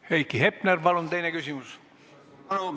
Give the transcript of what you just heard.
Heiki Hepner, palun teine küsimus!